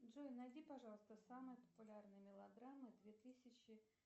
джой найди пожалуйста самые популярные мелодрамы две тысячи